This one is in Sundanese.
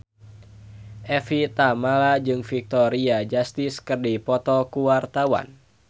Evie Tamala jeung Victoria Justice keur dipoto ku wartawan